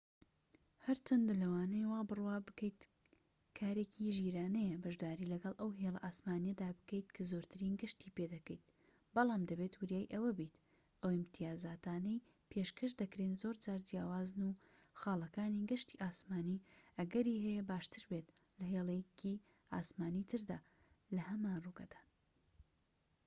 هەرچەندە لەوانەیە وابڕوا بکەیت کارێکی ژیرانەیە بەشداری لەگەڵ ئەو هێلە ئاسمانیەدا بکەیت کە زۆرترین گەشتی پێدەکەیت بەڵام دەبێت وریای ئەوەبیت ئەو ئیمتیازاتانەی پێشکەش دەکرێن زۆرجار جیاوازن و خاڵەکانی گەشتی ئاسمانی ئەگەری هەیە باشتر بێت لە هێڵێکی ئاسمانی تردا کە لە هەمان ڕووگەدان